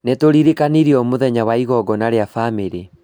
Nĩtũririkanirio mũthenya wa igongona rĩa bamĩrĩ